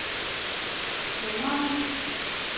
stemmerne